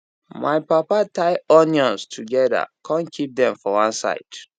my papa tie onions together con keep them for one side